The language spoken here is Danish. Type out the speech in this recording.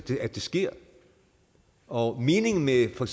at det sker og meningen med for